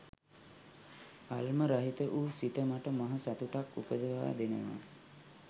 ඇල්ම රහිත වූ සිත මට මහ සතුටක් උපදවා දෙනවා